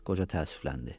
Qoca təəssüfləndi.